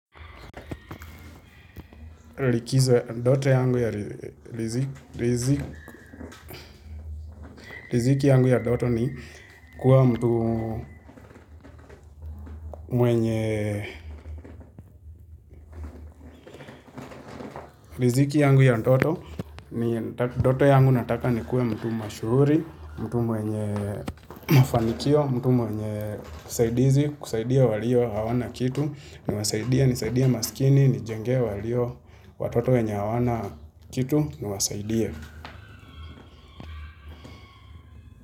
Likizwa doto yangu ya liziki, liziki yangu ya doto ni kuwa mtu mwenye liziki yangu ya ndoto, doto yangu nataka ni kuwe mtu mashuhuri, mtu mwenye mafanikio, mtu mwenye kusaidizi, kusaidia walio hawana kitu, ni wasaidie, nisaidie masikini, nijengee walio watoto wenye hawana kitu, ni wasaidie.